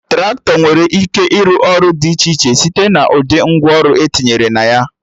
Traktọ nwere ike ịrụ ọrụ dị iche iche site na ụdị ngwa ọrụ etinyere na ya